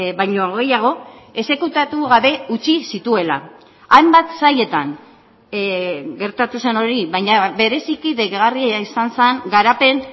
baino gehiago exekutatu gabe utzi zituela hainbat sailetan gertatu zen hori baina bereziki deigarria izan zen garapen